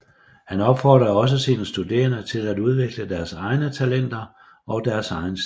Han opfordrede også sine studerende til at udvikle deres egne talenter og deres egen stil